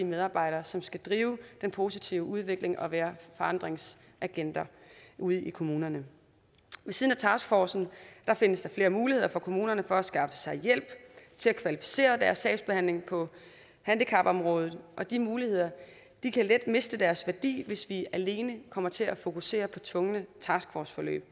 medarbejdere som skal drive den positive udvikling og være forandringsagenter ude i kommunerne ved siden af taskforcen findes der flere muligheder for at kommunerne kan skaffe sig hjælp til at kvalificere deres sagsbehandling på handicapområdet og de muligheder kan let miste deres værdi hvis de alene kommer til at fokusere på tvungne taskforceforløb